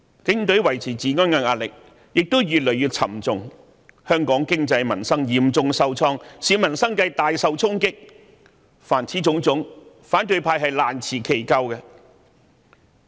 警隊維持治安的壓力越趨沉重，香港的經濟民生亦嚴重受創，市民生計大受影響，凡此種種，反對派均難辭其咎。